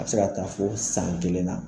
A bɛ se ka taa fɔ san kelen na